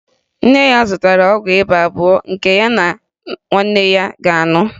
Nne ya zụtara ọgwụ ịba abụọ nke ya na nwanne ya ga-aṅụ